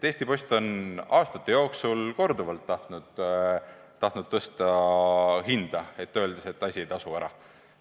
Eesti Post on aastate jooksul korduvalt tahtnud hinda tõsta, öeldes, et teenused ei tasu ära.